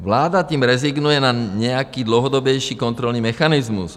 Vláda tím rezignuje na nějaký dlouhodobější kontrolní mechanismus.